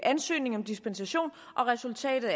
ansøgning om dispensation resultatet